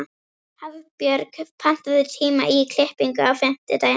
Hafbjörg, pantaðu tíma í klippingu á fimmtudaginn.